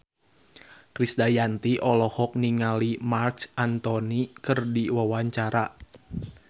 Krisdayanti olohok ningali Marc Anthony keur diwawancara